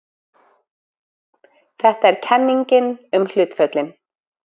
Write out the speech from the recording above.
Þetta er kenningin um hlutföllin.